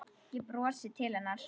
Ég brosi til hennar.